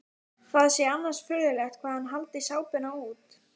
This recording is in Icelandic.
Það sé annars furðulegt hvað hann haldi sápuna út.